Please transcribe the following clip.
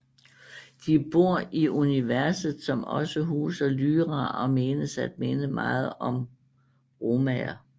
De bor i universet som også huser Lyra og menes at minde meget om romaer